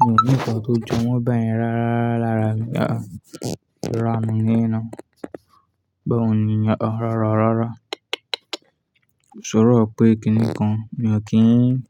mi ò ní nǹkan tó jo, wọ́n bá yẹn rárá lárá mi ah áh. Rárá, mi o níyen ná. Báwo ni ìyẹn? Rara ọ̀ rara, ko sọ̀rọ̀ pé kíni kan, mi ò kí n,